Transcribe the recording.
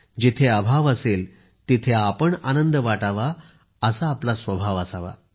जेथे अभाव असेल तेथे आपण आनंद वाटावा असा आपला स्वभाव असावा